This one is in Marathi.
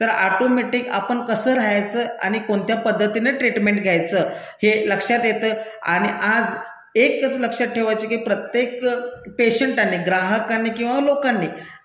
तर ऑटोमेटिक आपण कसं राहायाचं आणि कोणत्या पद्धतीने ट्रीटमेंट घ्यायचं? हे लक्षात येतं. आणि आज एकच लक्षात ठेवायचं की प्रत्येक पेशंटांनी, ग्राहकांनी किंवा लोकांनी